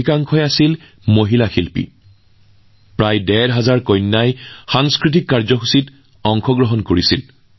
যিবোৰ সাংস্কৃতিক অনুষ্ঠান অনুষ্ঠিত হৈছিল তাত প্ৰায় ডেৰ হাজাৰ কন্যাই অংশ লৈছিল